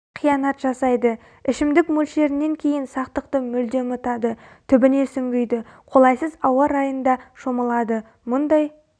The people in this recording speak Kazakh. қиянат жасайды ішімдік мөлшерінен кейін сақтықты мүлде ұмытады түбіне сүңгиді қолайсыз ауа райында шомылады мұндай